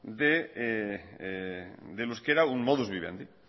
del euskera un modus vivendi